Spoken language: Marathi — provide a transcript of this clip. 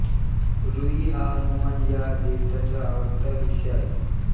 रुई हा हनुमान या देवतेचा आवडता वृक्ष आहे